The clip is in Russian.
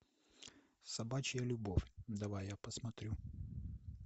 собачья любовь давай я посмотрю